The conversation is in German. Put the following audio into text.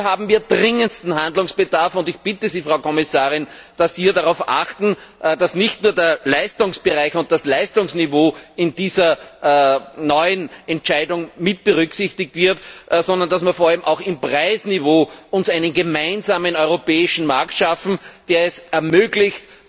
Hier haben wir dringendsten Handlungsbedarf! Ich bitte Sie, Frau Kommissarin, dass Sie darauf achten, dass nicht nur der Leistungsbereich und das Leistungsniveau in dieser neuen Entscheidung mitberücksichtigt werden, sondern dass wir vor allem auch beim Preisniveau einen gemeinsamen europäischen Markt schaffen, der es ermöglicht,